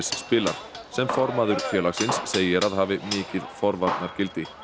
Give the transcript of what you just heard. spilar sem formaður félagsins segir að hafi mikið forvarnargildi